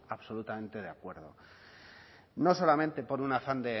absolutamente de acuerdo no solamente por un afán